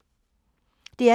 DR P3